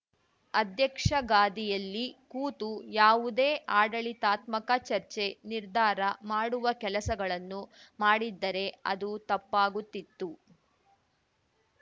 ಅಧ್ಯಕ್ಷಗಾಧಿಯಲ್ಲಿ ಕೂತು ಯಾವುದೇ ಆಡಳಿತಾತ್ಮಕ ಚರ್ಚೆ ನಿರ್ಧಾರ ಮಾಡುವ ಕೆಲಸಗಳನ್ನು ಮಾಡಿದ್ದರೆ ಅದು ತಪ್ಪಾಗುತ್ತಿತ್ತು